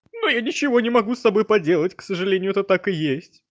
но я ничего не могу с собой поделать к сожалению это так и есть